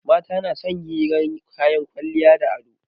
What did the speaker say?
Mata na son hirar kayan kwalliya da ado